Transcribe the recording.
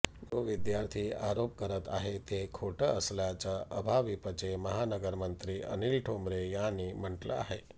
जो विद्यार्थी आरोप करत आहे ते खोटं असल्याचं अभाविपचे महानगरमंत्री अनिल ठोंबरे यांनी म्हटलं आहे